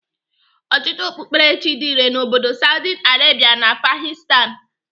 Ọchịchịrị ọkpụkperechi dị irè n'obodo Saudi Arabia na Afghanistan.